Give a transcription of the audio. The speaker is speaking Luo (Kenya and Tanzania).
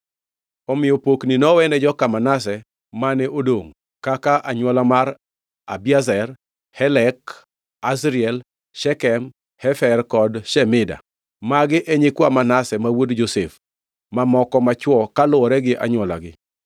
Omiyo pokni nowene joka Manase mane odongʼ, kaka, anywola mar Abiezer, Helek Asriel, Shekem, Hefer, kod Shemida. Magi e nyikwa Manase ma wuod Josef mamoko machwo kaluwore gi anywolagi.